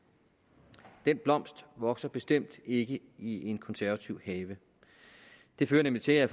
den blomst vokser bestemt ikke i en konservativ have det fører nemlig til at